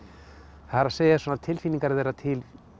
það er svona tilfinningar þeirra til